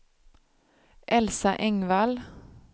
Elsa Engvall